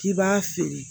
K'i b'a feere